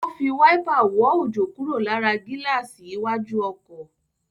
Ó fi wáípà wọ́ òjò kúrò lára gíláàsì iwájú ọkọ̀.